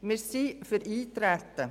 Wir sind für das Eintreten.